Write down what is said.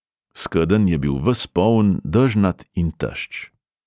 Skedenj je bil ves poln, dežnat in tešč.